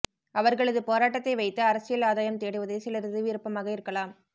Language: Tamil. அவர்களது போராட்டத்தை வைத்து அரசியல் ஆதாயம் தேடுவதே சிலரது விருப்பமாக இருக்கலாம்